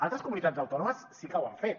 altres comunitats autònomes sí que ho han fet